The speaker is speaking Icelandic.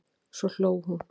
Svo hló hún.